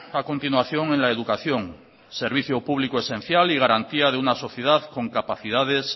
a continuación en la educación servicio público esencial y garantía de una sociedad con capacidades